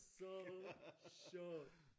Så sjovt